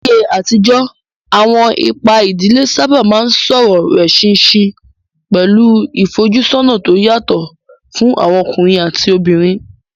Láyé àtijọ́, àwọn ipa ìdílé sábà máa ń sọ̀rọ̀ rẹ̀ ṣinṣin, pẹ̀lú ìfojúsọ́nà tó yàtọ̀ fún àwọn ọkùnrin àti obìnrin.